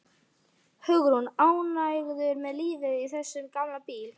Hugrún: Ánægður með lífið í þessum gamla bíl?